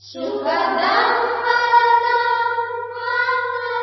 सुखदां वरदां मातरम् १